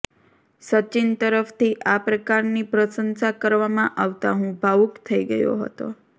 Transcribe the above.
સચિન તરફથી આ પ્રકારની પ્રશંસા કરવામાં આવતાં હું ભાવુક થઈ ગયો હતો